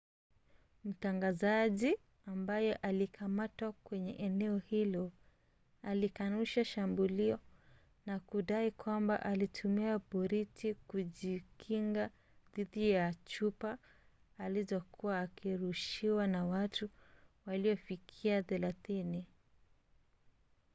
mtangazaji ambaye alikamatwa kwenye eneo hilo alikanusha shambulio na kudai kwamba alitumia boriti kujikinga dhidi ya chupa alizokuwa akirushiwa na watu waliofikia thelathini